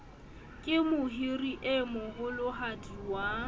ke mohiri e moholohadi wa